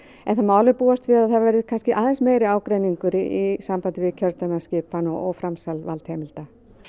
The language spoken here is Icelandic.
það má alveg búast við því að það verði kannski aðeins meiri ágreiningur í sambandi við kjördæmaskipan og framsal valdheimilda